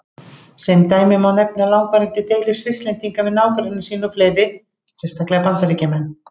Sem dæmi má nefna langvarandi deilur Svisslendinga við nágranna sína og fleiri, sérstaklega Bandaríkjamenn.